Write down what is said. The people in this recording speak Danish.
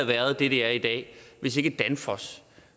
været det det er i dag hvis ikke danfoss